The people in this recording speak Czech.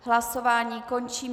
Hlasování končím.